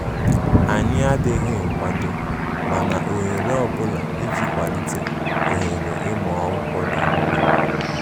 anyi adighi nkwado mana ohere ọbula ịjị kwalite ohere ịmụ akwụkwọ dị mkpa